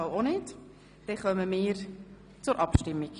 Somit kommen wir zur Abstimmung.